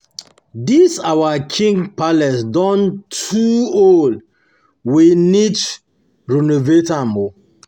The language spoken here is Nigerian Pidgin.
this our king king palace don too um old, we need renovate am um